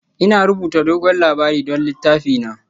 Ina rubuta dogon labari don littafina